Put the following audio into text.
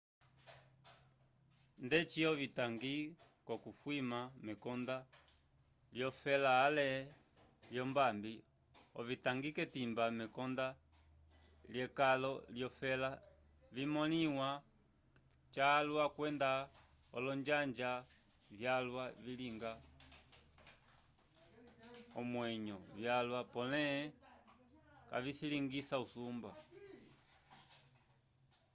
ndeci ovitangi k'okufwima mekonda lyofela ale lyombambi ovitangi k'etimba mekonda lyekalo lyofela vimõliwa calwa kwenda olonjanja vyalwa vilinga onyeñgo yalwa pole kavilingisa usumba